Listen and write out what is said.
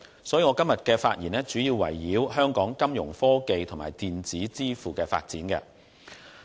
所以，我今天的發言主要圍繞香港金融科技和電子支付的發展。